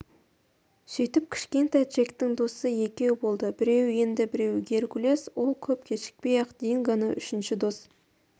сөйтіп кішкентай джектің досы екеу болды біреуі енді біреуі геркулес ол көп кешікпей-ақ дингоны үшінші дос